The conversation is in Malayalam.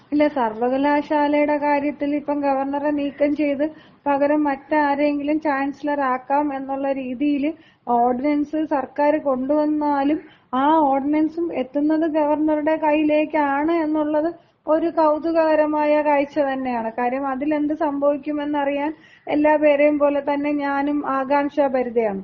ഇല്ല. സർവ്വകലാശാലയുടെ കാര്യത്തിൽ ഇപ്പം ഗവർണറെ നീക്കംചെയ്ത് പകരം മറ്റാരെയെങ്കിലും ചാൻസലർ ആക്കാം എന്നുള്ള രീതിയില് ഓർഡിനൻസ് സർക്കാർ കൊണ്ടുവന്നാലും ആ ഓർഡിനൻസും എത്തുന്നത് ഗവർണറുടെ കയ്യിലേക്കാണ് എന്നുള്ളത് ഒരു കൗതുകകരമായ കാഴ്ച തന്നെയാണ്. കാര്യം അതിൽ എന്ത് സംഭവിക്കും എന്നറിയാൻ എല്ലാപേരെയും പോലെ തന്നെ ഞാനും ആകാംക്ഷഭരിതയാണ്.